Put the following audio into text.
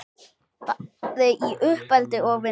Bæði í uppeldi og vinnu.